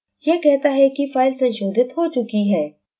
यह कहता है कि file संशोधित हो चुकी है